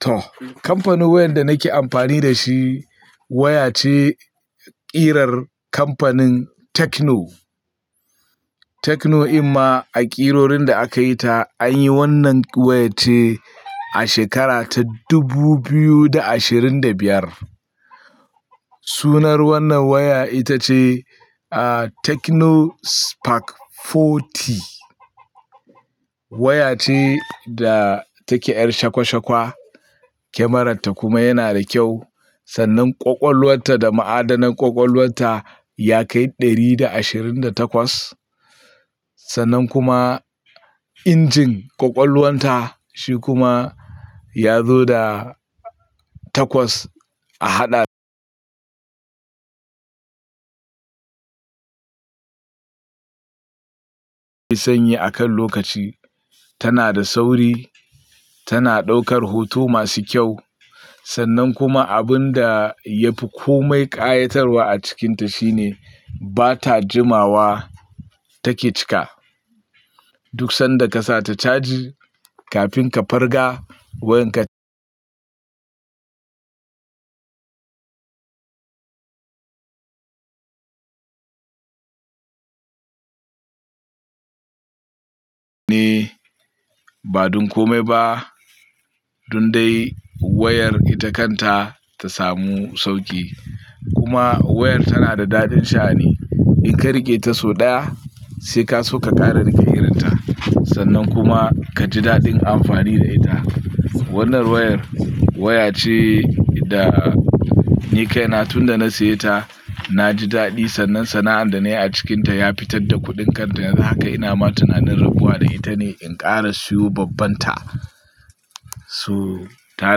To, kamfanin wayar da nake amfani da ita waya ce ƙirar kamfanin Tecno Tecno ɗaya daga ƙirorin da aka yi ta an yi wannan wayar ce a shekara ta dubu biyu da ashirin da biyar. Sunan wannan waya ita ce, ah, Techno Spark 40. Waya ce da takeyar shakwashakwa kyamararta kuma ta na da kyau. Sannan ƙwaƙwalwarta da ma’adanar ƙwaƙwalwarta ta kai ɗari da ashirin da takwas. Sannan kuma injin ƙwaƙwalwarta shi kuma ya zo da takwas a haɗa sannan akan lokaci. Tana da sauri, tana ɗaukar hotuna masu kyau sannan kuma abun da ya fi komai ƙayatarwa a cikinta shine ba ta dadewa a chaji take cika. Duk lokacin da ka saka ta a caji kafin ka farga wayarka ba don komai ba don dai wayar ita kanta ta samu sauki. Kuma wayar tana da daɗin sha’ani. Idan ka riƙe ta sau ɗaya sai ka so ka ƙara riƙe irin ta. Sannan kuma ka ji daɗin amfani da ita. Wannan wayar waya ce da ni kaina tun da na saye ta na ji daɗi sannan sana'ar da na yi a cikinta ya fitar da kuɗin ta yanzu haka. Ina ma tunanin rabuwa da ita ne in ƙara siyo babban ta. To ta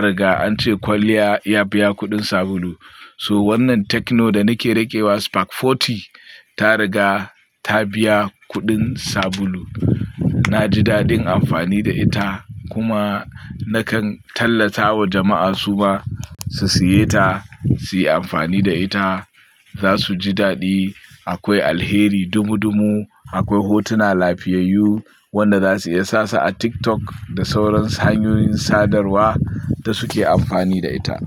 riga an ce kwalliya ta biya kuɗin sabulu. Wannan Tecno da nake riƙewa Spark 40 ya riga ya biya kuɗin sabulu. Na ji daɗin amfani da ita kuma na kan tallata wa jama'a su ma su saye ta, su yi amfani da ita. Za su ji daɗi. Akwai alheri ɗumamɗumam, akwai hotuna lafiyayyu waɗanda za su iya saka su a TikTok da sauran hanyoyin sadarwa da suke amfani da ita.